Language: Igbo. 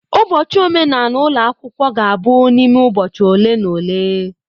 Ụbọchị omenala ụlọ akwụkwọ ga-abụ n'ime ụbọchị ole na ole.